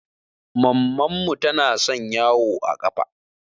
Mamman mu tana son yawo a ƙafa